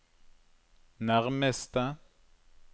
nærmeste